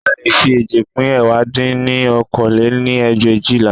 A leè fi eéjì pín ẹ̀wá dín ní okòó lé-ní ẹgbẹ̀éjìlá